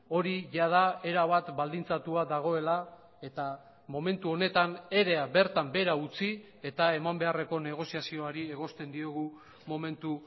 hori jada erabat baldintzatua dagoela eta momentu honetan erea bertan behera utzi eta eman beharreko negoziazioari egosten diogu momentu